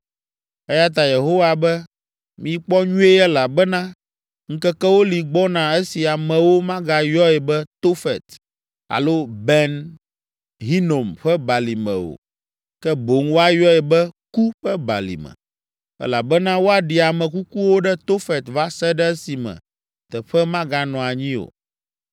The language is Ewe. Eya ta Yehowa be, ‘Mikpɔ nyuie elabena ŋkekewo li gbɔna esi amewo magayɔe be Tofet alo Ben Hinom ƒe Balime o, ke boŋ woayɔe be, ku ƒe balime, elabena woaɖi ame kukuwo ɖe Tofet va se ɖe esime teƒe maganɔ anyi o.’